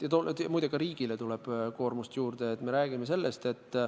Muide, ka riigile tuleb koormust juurde.